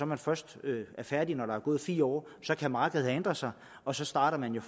man først er færdig når der er gået fire år så kan markedet have ændret sig og så starter man jo